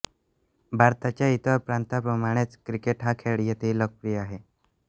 भारताच्या इतर प्रांतांप्रमाणेच क्रिकेट हा खेळ येथेही लोकप्रिय आहे